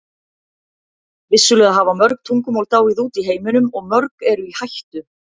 Vissulega hafa mörg tungumál dáið út í heiminum og mörg eru í hættu.